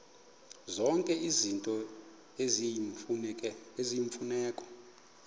zonke izinto eziyimfuneko